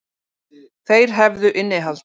Þeir hefðu innihald.